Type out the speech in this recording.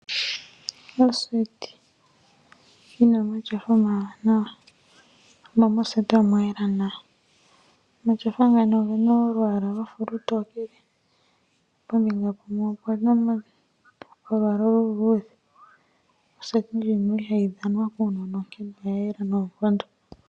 Oseti yi na omatyofa omawanawa, mo omwa yela nawa. Omatyofa oge na olwaala lwa fa olutokele, pombinga yimwe opu na olwaala oluluudhe. Moseti muka ihamu dhanwa kuunona nomwa yela noonkondo.